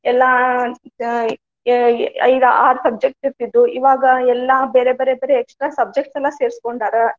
ಎಲ್ಲಾ ಆ ಏ ಐದ ಆರ್ subject ಇರ್ತಿದ್ದು ಇವಾಗ ಎಲ್ಲಾ ಬೇರೆ, ಬೇರೆ, ಬೇರೆ extra subjects ಎಲ್ಲಾ ಸೇರಸ್ಕೊಂಡಾರ.